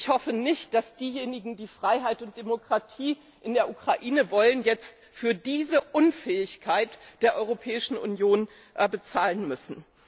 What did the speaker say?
Ich hoffe nicht, dass diejenigen, die Freiheit und Demokratie in der Ukraine wollen, jetzt für diese Unfähigkeit der Europäischen Union bezahlen müssen.